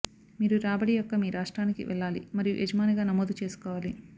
మీరు రాబడి యొక్క మీ రాష్ట్రానికి వెళ్లాలి మరియు యజమానిగా నమోదు చేసుకోవాలి